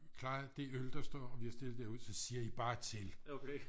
klaret de øl der står vi har stillet derude så siger i bare til